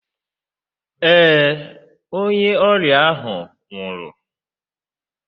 Ee, onye ọrịa ahụ nwụrụ.